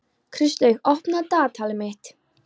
Kristlaug, opnaðu dagatalið mitt.